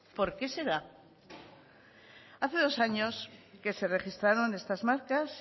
por qué será hace dos años que se registraron estas marcas